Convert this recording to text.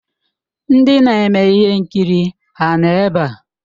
Ndị na-eme ihe nkiri ha nọ ebe a?